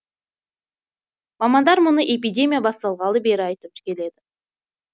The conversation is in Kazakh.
мамандар мұны эпидемия басталғалы бері айтып келеді